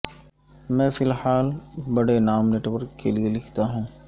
میں فی الحال بڑے نام نیٹ ورک کے لئے لکھتا ہوں